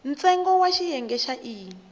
ntsengo wa xiyenge xa e